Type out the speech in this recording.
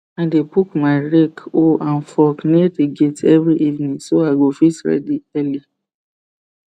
i dey put my rake hoe and fork near the gate every evening so i go fit ready early